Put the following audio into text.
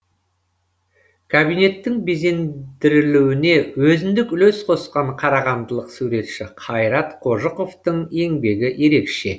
кабинеттің безендірілуіне өзіндік үлес қосқан қарағандылық суретші қайрат қожықовтың еңбегі ерекше